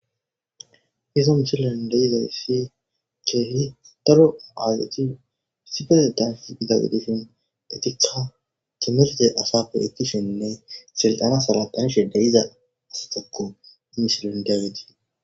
izo misilon deizay si keeli daro aazati sifese dansh idagudishin etikka kimelte asa poletishenne selxana sala tanshe de iza asatakko imishilen dawetii